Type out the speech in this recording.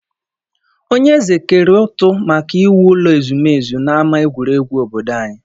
Onye eze kere ụtụ maka iwu ụlọ ezumezu n'ama egwuregwu obodo anyị